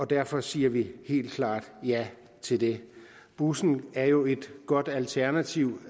derfor siger vi helt klart ja til det bussen er jo et godt alternativ